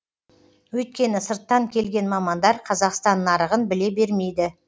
өйткені сырттан келген мамандар қазақстан нарығын біле бермейді